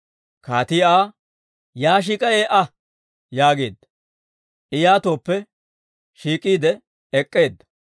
Kaatii Aa, «Yaa shiik'a ee"a» yaageedda; I yaatooppe shiik'iide ek'k'eedda.